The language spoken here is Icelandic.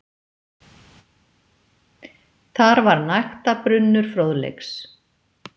Þar var nægtabrunnur fróðleiks.